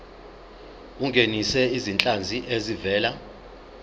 ungenise izinhlanzi ezivela